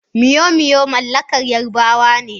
Moi-moi mallakar Yarabawa ne.